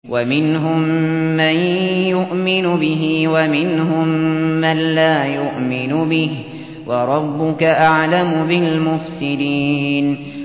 وَمِنْهُم مَّن يُؤْمِنُ بِهِ وَمِنْهُم مَّن لَّا يُؤْمِنُ بِهِ ۚ وَرَبُّكَ أَعْلَمُ بِالْمُفْسِدِينَ